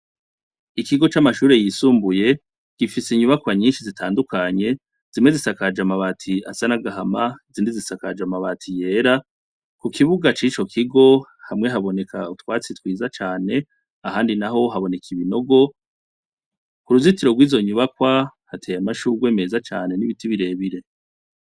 Ikigo c'amashure yisumbuye kifise inyubakwa nyishi zitandukanye, zimwe zisakaje amabati asa n'agahama, izindi zisakaje amabati y'era. Ku kibuga c'ico kigo hamwe haboneka utwatsi twiza cane, ahandi naho haboneka ibinogo. Ku ruzitiro rw'izo nyubakwa hateye amashurwe meza cane n'ibiti bire bire.